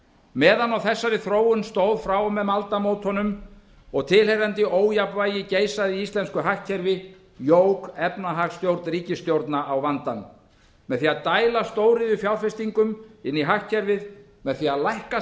meðan á þessari þróun stóð frá og með aldamótunum og tilheyrandi ójafnvægi geisaði í íslensku hagkerfi jók efnahagsstjórn ríkisstjórna á vandann með því að dæla stóriðjufjárfestingum inn í hagkerfið með því að lækka